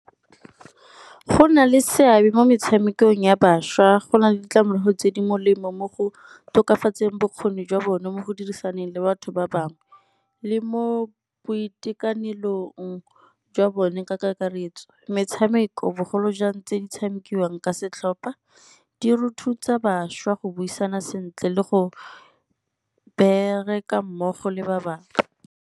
Go na le seabe mo metshamekong ya bašwa, go na le ditlamorago tse di molemo mo go tokafatseng bokgoni jwa bone mo go dirisaneng le batho ba bangwe le mo boitekanelong jwa bone ka kakaretso. Netshameko bogolo jang tse di tshamekiwang ka setlhopa di ruta bašwa go buisana sentle le go bereka mmogo le ba bangwe.